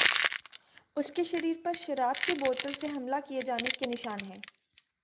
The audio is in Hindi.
उसके शरीर पर शराब की बोतल से हमला किए जाने के निशान है